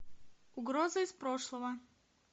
угроза из прошлого